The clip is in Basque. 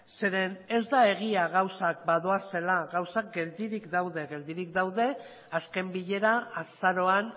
zeren ez da egia gauzak badoazela gauzak geldirik daude geldirik daude azken bilera azaroan